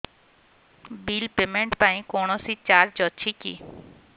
bill payment ପାଇଁ କୌଣସି charge ଅଛି କି